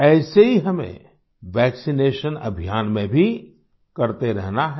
ऐसे ही हमें वैक्सिनेशन अभियान में भी करते रहना है